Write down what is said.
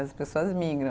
As pessoas migram.